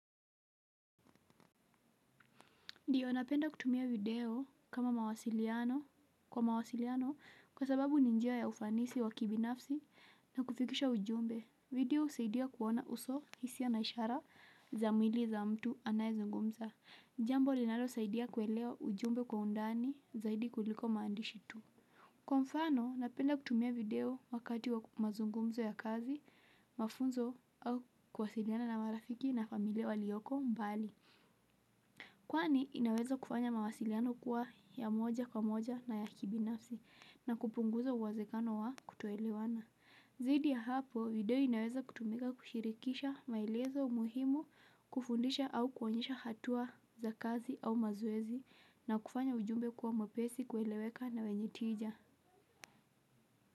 Ndiyo, napenda kutumia video kama mawasiliano kwa mawasiliano kwa sababu ni njia ya ufanisi wa kibinafsi na kufikisha ujumbe. Video usaidia kuona uso hisiya na ishara za mwili za mtu anayezungumza. Jambo linalosaidia kuelewa ujumbe kwa undani zaidi kuliko maandishi tu. Kwa mfano, napenda kutumia video wakati wa mazungumzo ya kazi, mafunzo au kwasiliana na marafiki na familia walioko mbali. Kwani inaweza kufanya mawasiliano kuwa ya moja kwa moja na ya kibinafsi na kupunguza uwezekano wa kutoelewana. Zidi ya hapo video inaweza kutumika kushirikisha maelezo umuhimu kufundisha au kuwonyesha hatua za kazi au mazoezi na kufanya ujumbe kuwa mwepesi kueleweka na wenye tija.